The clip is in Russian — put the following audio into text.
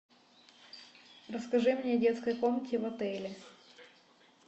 расскажи мне о детской комнате в отеле